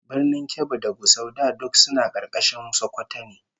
Birnin Kebbi da Gusau da duk suna karkashin Sokoto ne